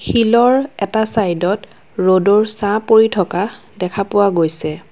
শিলৰ এটা চাইডত ৰ'দৰ ছাঁ পৰি থকা দেখা পোৱা গৈছে।